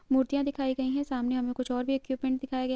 मूर्तियां दिखाई गई हैं सामने हमे कुछ और भी इक्विपमेंट दिखाई गए --